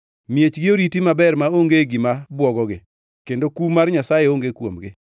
Miechgi oriti maber maonge gima bwogogi; kendo kum mar Nyasaye onge kuomgi.